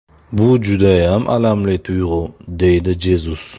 Bu judayam alamli tuyg‘u”, deydi Jezus.